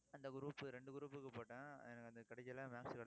அந்த group இரண்டு group க்கு போட்டேன். எனக்கு அந்த கிடைக்கல